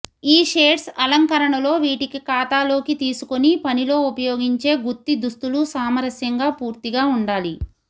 ఈ షేడ్స్ అలంకరణలో వీటికి ఖాతాలోకి తీసుకొని పనిలో ఉపయోగించే గుత్తి దుస్తులు సామరస్యంగా పూర్తిగా ఉండాలి